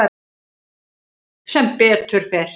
Sem betur fer.